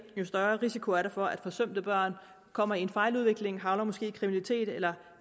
jo større risiko er der for at forsømte børn kommer i en fejludvikling måske havner i kriminalitet eller